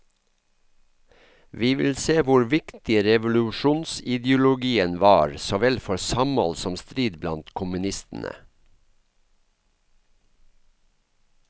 Vi vil se hvor viktig revolusjonsideologien var såvel for samhold som strid blant kommunistene.